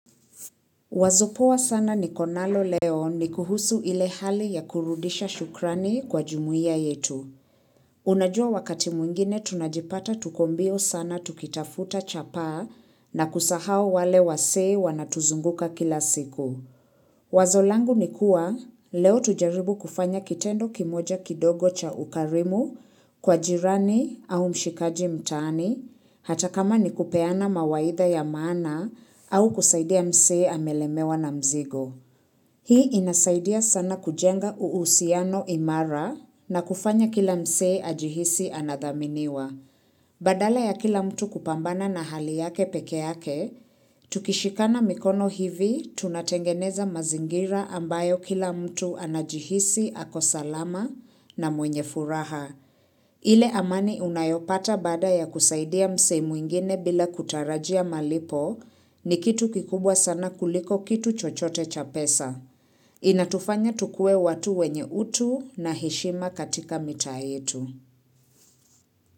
Wazo poa sana nikonalo leo ni kuhusu ile hali ya kurudisha shukrani kwa jumuia yetu. Unajua wakati mwingine tunajipata tuko mbio sana tukitafuta chapaa na kusahau wale wasee wanatuzunguka kila siku. Wazo langu ni kuwa leo tujaribu kufanya kitendo kimoja kidogo cha ukarimu kwa jirani au mshikaji mtaani hata kama ni kupeana mawaitha ya maana au kusaidia msee amelemewa na mzigo. Hii inasaidia sana kujenga uhusiano imara na kufanya kila msee ajihisi anadhaminiwa. Badala ya kila mtu kupambana na hali yake pekee yake, tukishikana mikono hivi tunatengeneza mazingira ambayo kila mtu anajihisi ako salama na mwenye furaha. Ile amani unayopata baada ya kusaidia msee mwingine bila kutarajia malipo ni kitu kikubwa sana kuliko kitu chochote cha pesa. Inatufanya tukuwe watu wenye utu na heshima katika mitaa yetu.